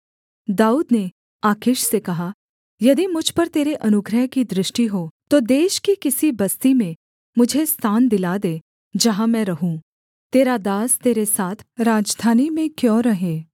दाऊद ने आकीश से कहा यदि मुझ पर तेरे अनुग्रह की दृष्टि हो तो देश की किसी बस्ती में मुझे स्थान दिला दे जहाँ मैं रहूँ तेरा दास तेरे साथ राजधानी में क्यों रहे